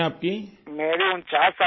راجیش پرجاپتی میری عمر 59 سال ہے